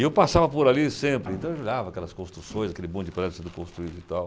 E eu passava por ali sempre, então eu olhava aquelas construções, aquele monte de prédio sendo construído e tal.